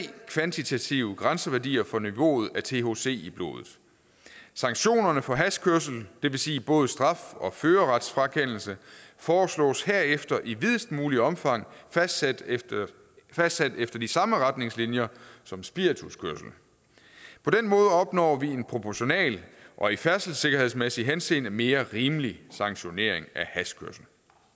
kvantitative grænseværdier for niveauet af thc i blodet sanktionerne for hashkørsel det vil sige både straf og førerretsfrakendelse foreslås herefter i videst mulig omfang fastsat efter fastsat efter de samme retningslinjer som spirituskørsel på den måde opnår vi en proportional og i færdselssikkerhedsmæssig henseende mere rimelig sanktionering af hashkørsel